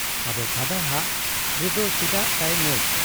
ᱟᱵᱚ ᱯᱷᱟᱫᱟ ᱦᱟᱜ ᱨᱮᱫᱚ ᱪᱮᱫᱟᱜ ᱛᱟᱭ ᱢᱮᱫ ?